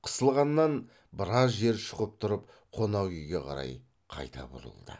қысылғаннан біраз жер шұқып тұрып қонақ үйге қарай қайта бұрылды